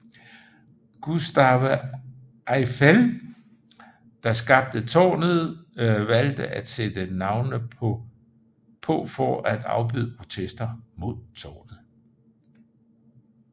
Gustave Eiffel der skabte tårnet valgte at sættte navnene på for at afbøde protester mod tårnet